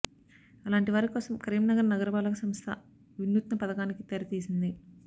అలాంటి వారి కోసం కరీంనగర్ నగరపాలక సంస్థ వినూత్న పథకానికి తెర తీసింది